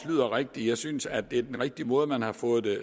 lyder rigtigt jeg synes at det er den rigtige måde man har fået